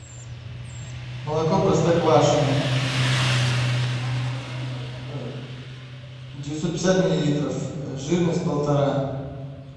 молоко простоквашино девятьсот пятьдесят миллилитров жирность полтора